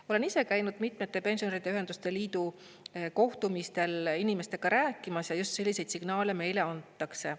Ma olen ise käinud mitmetel pensionäride ühenduste liidu kohtumistel inimestega rääkimas ja just selliseid signaale meile antakse.